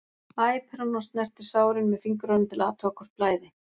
æpir hann og snertir sárin með fingrunum til að athuga hvort blæði.